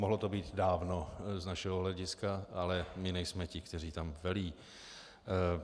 Mohlo to být dávno z našeho hlediska, ale my nejsme ti, kteří tam velí.